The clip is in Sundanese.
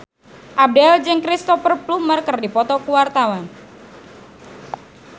Abdel jeung Cristhoper Plumer keur dipoto ku wartawan